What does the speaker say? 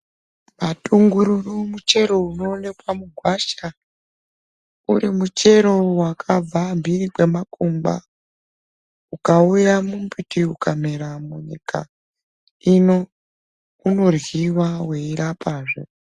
Matungururu muchero unoonekwa mugwasha, uri muchero wakabva mphiri kwemakungwa, ukauya mumbiti ukamera munyika ino, unoryiwa weirapazve.